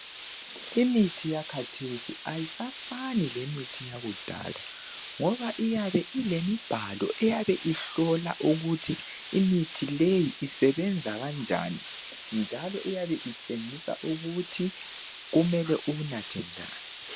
Imithi yakhathesi ayisafani lemithi yakudala ,ngoba iyabe ilemibhalo. Eyabe ihlola ukuthi imithi leyi isebenza kanjani. Njalo iyabe itshengisa ukuthi kumele uwunathe njani.